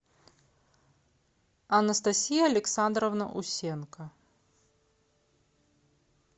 анастасия александровна усенко